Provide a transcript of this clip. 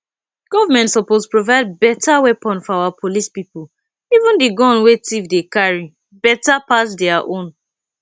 government suppose provide better weapon for our police people even the gun wey thief dey carry better pass dia own